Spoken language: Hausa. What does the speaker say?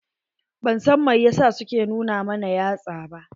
Ban san mai yasa su ke nu na mana yatsa ba.